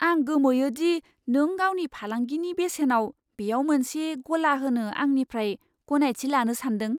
आं गोमोयो दि नों गावनि फालांगिनि बेसेनाव बेयाव मोनसे गला होनो आंनिफ्राय गनायथि लानो सानदों।